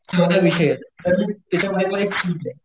चौदा विषयेत तर त्याच्यामध्ये पण एक सुटे,